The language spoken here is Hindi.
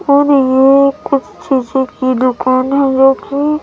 और ये कुछ चीजें की दुकान हैं जो की--